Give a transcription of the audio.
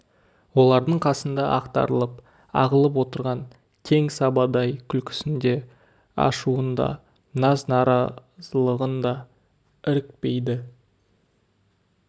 олардың қасында ақтарылып ағылып отырған кең сабадай күлкісін де ашуын да наз-наразылығын да ірікпейді